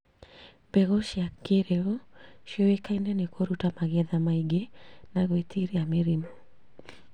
Mbegũ cia kĩrĩu ciũĩkaine nĩ kũruta magĩtha maingĩ na gwĩtiria mĩrimũ